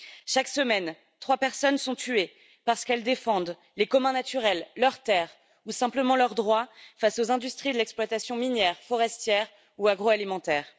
Chaque semaine, trois personnes sont tuées parce qu'elles défendent leurs biens naturels, leurs terres ou simplement leurs droits face aux industries de l'exploitation minière, forestière ou agro alimentaire.